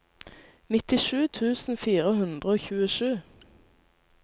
nittisju tusen fire hundre og tjuesju